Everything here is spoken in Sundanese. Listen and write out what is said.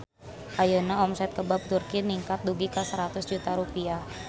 Ayeuna omset Kebab Turki ningkat dugi ka 100 juta rupiah